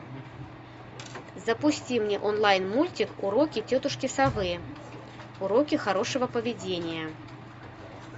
запусти мне онлайн мультик уроки тетушки совы уроки хорошего поведения